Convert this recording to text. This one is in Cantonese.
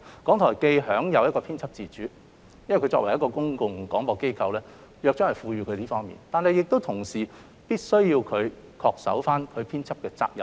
港台享有編輯自主，這是由於港台作為公共廣播機構而獲《約章》賦予的職能，但它同時亦必須恪守其編輯責任。